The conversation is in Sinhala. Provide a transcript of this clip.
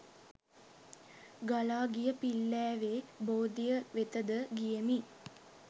ගලා ගිය පිල්ලෑවේ බෝධිය වෙතද ගියෙමි.